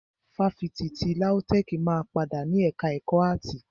Ifáfitì ti LAUTECH máa padà ni ẹka ẹ̀kọ́ áàtì.